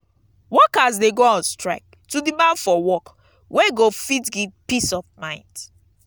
workers de go on strike to demand for work wey go fit give peace of mind